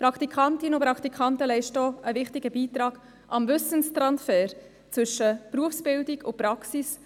Praktikantinnen und Praktikanten leisten auch einen wichtigen Beitrag zum Wissenstransfer zwischen Berufsbildung und Praxis.